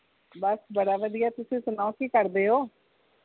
ਬਸ ਬੜਾ ਵਧੀਆ ਤੁਸੀ ਸੁਣਾਓ ਕੀ ਕਰਦੈ ਓ